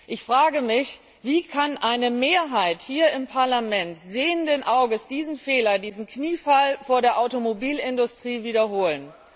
Ich frage mich Wie kann eine Mehrheit hier im Parlament sehenden Auges diesen Fehler, diesen Kniefall vor der Automobilindustrie wiederholen?